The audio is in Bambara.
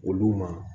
Olu ma